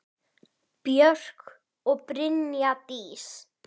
Björk og Brynja Dís.